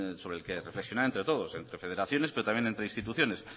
sobre el que reflexionar entre todos entre federaciones pero también entre instituciones